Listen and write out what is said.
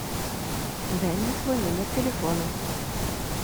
дай мне свой номер телефона